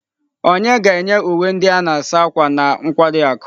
Onye ga-enye uwe ndị a na-asa ákwà na nkwari akụ?